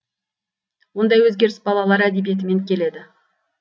ондай өзгеріс балалар әдебиетімен келеді